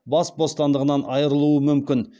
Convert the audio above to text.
бас бостандығынан айырылуы мүмкін